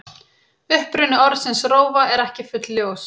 Uppruni orðsins rófa er ekki fullljós.